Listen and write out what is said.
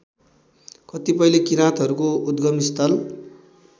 कतिपयले किराँतहरूको उद्गमस्थल